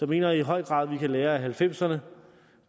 mener i høj grad at vi kan lære at nitten halvfemserne